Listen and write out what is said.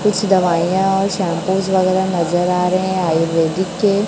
कुछ दवाइयां और शैंपूस वगैरा नजर आ रहे हैं आयुर्वेदिक के--